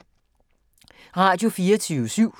Radio24syv